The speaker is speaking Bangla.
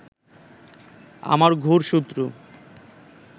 আমার ঘোর শত্রু